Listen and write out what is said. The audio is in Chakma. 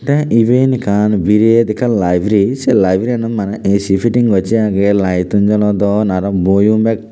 te even ekkan biret ekkan library se library anot maney ac fitting gossey agye light tun jolodon aro boiyun bek.